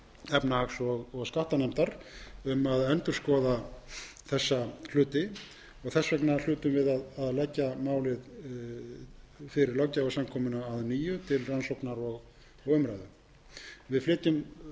efnahags og skattanefndar um að endurskoða þessa hluti þess vegna hlutum við að leggja málið fyrir löggjafarsamkomuna að nýju til rannsóknar og umræðu við flytjum